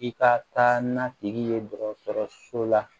I ka taa n'a tigi ye dɔgɔtɔrɔso la